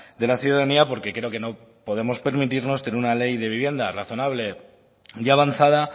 de la ciudadanía porque creo que no podemos permitirnos tener una ley de vivienda razonable y avanzada